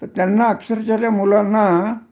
त्यांना अक्षरश: मुलांना